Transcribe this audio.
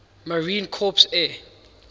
marine corps air